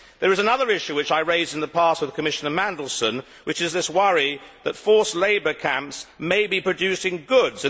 There is another issue which I raised in the past with Commissioner Mandelson, which is the worry that forced labour camps may be producing goods.